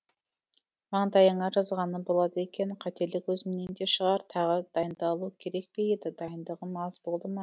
маңдайыңа жазғаны болады екен қателік өзімнен де шығар тағы дайындалу керек пе еді дайындығым аз болды ма